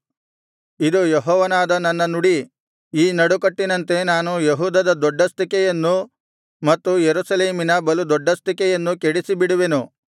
ಇದು ಯೆಹೋವನಾದ ನನ್ನ ನುಡಿ ಈ ನಡುಕಟ್ಟಿನಂತೆ ನಾನು ಯೆಹೂದದ ದೊಡ್ಡಸ್ತಿಕೆಯನ್ನೂ ಮತ್ತು ಯೆರೂಸಲೇಮಿನ ಬಲು ದೊಡ್ಡಸ್ತಿಕೆಯನ್ನೂ ಕೆಡಿಸಿಬಿಡುವೆನು